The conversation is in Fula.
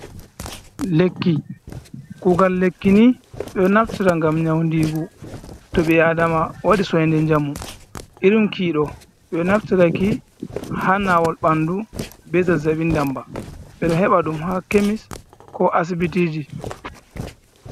Lekki, kugal lekki ni ɓe ɗo naftera gam nyaundigu, to ɓe adama wadi soinde jamu, irim kiiɗo ɓe naftir taki hanawol ɓandu be zazzaɓi damba, ɓeɗo heɓa ɗum ha kemis ko asibiti ji.